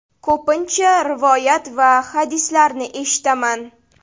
Ko‘pincha rivoyat va hadislarni eshitaman.